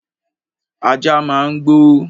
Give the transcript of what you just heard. Ajá máa ń gbó.